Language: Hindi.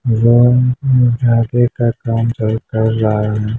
यह एक जाकिर का काम कर रहा है।